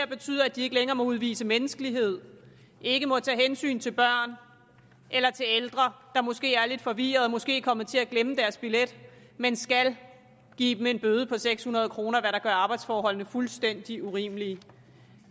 betyder at de ikke længere må udvise menneskelighed ikke må tage hensyn til børn eller ældre der måske er lidt forvirrede og måske er kommet til at glemme deres billet men skal give dem en bøde på seks hundrede kr hvad der gør arbejdsforholdene fuldstændig urimelige